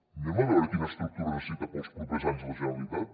anem a veure quina estructura necessita per als propers anys la generalitat